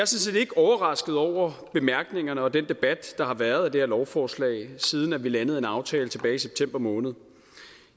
set ikke overrasket over bemærkningerne og den debat der har været af det her lovforslag siden vi landede en aftale tilbage i september måned